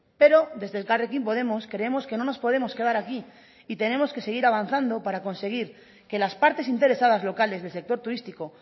pero desde elkarrekin podemos creemos que no nos podemos quedar aquí y tenemos que seguir avanzando para conseguir que las partes interesadas locales del sector turístico